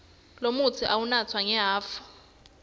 lomutsi uwunatsa ngehhafu